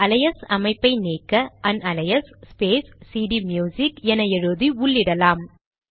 இந்த அலையஸ் அமைப்பை நீக்க அன்அலையஸ் ஸ்பேஸ் சிடிம்யுசிக் என எழுதி உள்ளிடலாம்